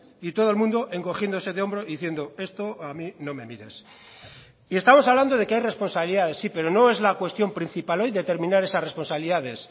y todo el mundo encogiéndose de hombro diciendo esto a mí no me mires y estamos hablando de que hay responsabilidades sí pero no es la cuestión principal hoy determinar esas responsabilidades